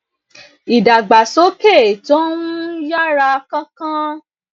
ìdàgbàsókè tó ń ń yára kánkán